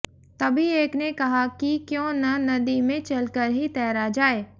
तभी एक ने कहा कि क्यों न नदी में चलकर ही तैरा जाए